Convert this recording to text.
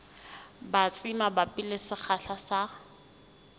batsi mabapi le sekgahla sa